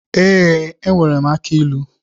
Ee, enwere m aki ilu.